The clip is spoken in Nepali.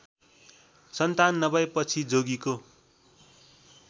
सन्तान नभएपछि जोगीको